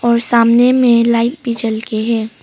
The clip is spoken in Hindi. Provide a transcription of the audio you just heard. और सामने में लाइट भी जल के है।